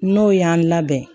N'o y'an labɛn